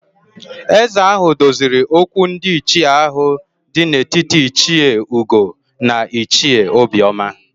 Ézē ahụ doziri okwu ndị ichie ahụ dị n'etiti Ichie Ugo na Ichie Obioma